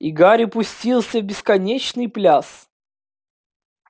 и гарри пустился в бесконечный пляс